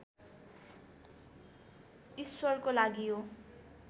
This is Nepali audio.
ईश्वरको लागि हो